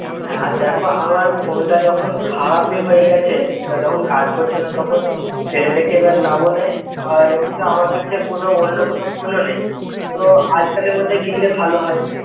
হ্যাঁ আর দেখ আমার ফোন তা যখন খারাপ এ হয়ে গেছেই যখন কাজ করছে না তখন ফেলে রেখে লাভও নেই আর একটু আমার কাচে কোন অন্যকোনো ফোন ও নেই. তো আজকালের মধ্যে কিনলে ভালো হয়ে